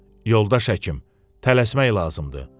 Yoldaş həkim, tələsmək lazımdır.